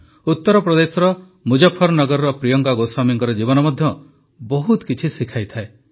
ଉତ୍ତରପ୍ରଦେଶର ମୁଜଫରନଗରର ପ୍ରିୟଙ୍କା ଗୋସ୍ୱାମୀଙ୍କ ଜୀବନ ମଧ୍ୟ ବହୁତ କିଛି ଶିଖାଇଥାଏ